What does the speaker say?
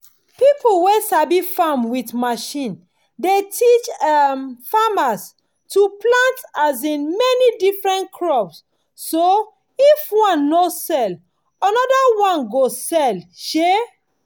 people wey sabi farm with machine dey teach um farmers to plant um many different crops so if one no sell another one go sell. um